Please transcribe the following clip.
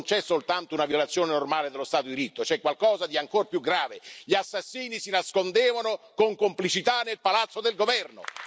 Non c'è soltanto una violazione normale dello Stato di diritto, c'è qualcosa di ancora più grave, gli assassini si nascondevano con complicità nel palazzo del governo.